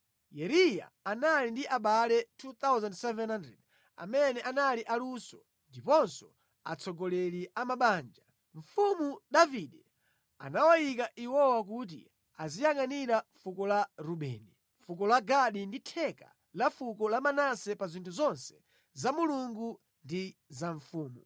Yeriya anali ndi abale 2,700 amene anali aluso ndiponso atsogoleri a mabanja. Mfumu Davide anawayika iwowa kuti aziyangʼanira fuko la Rubeni, fuko la Gadi ndi theka la fuko la Manase pa zinthu zonse za Mulungu ndi za mfumu.